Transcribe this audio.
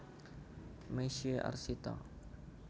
Misye Arsita